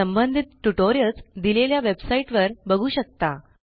संबंधित ट्युटोरियल्स दिलेल्या वेबसाईट वर बघू शकता